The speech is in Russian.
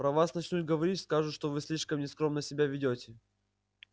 про вас начнут говорить скажут что вы слишком нескромно себя ведёте